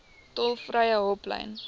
tolvrye hulplyn